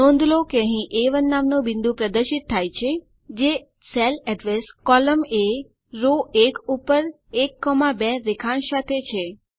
નોંધ લો અહીં એ1 નામનું બિંદુ પ્રદર્શિત થાય છે જે સેલ અડ્રેસ કોલમ એ રો 1 ઉપર 1 2 રેખાંશ સાથે છે